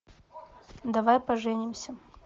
давай поженимся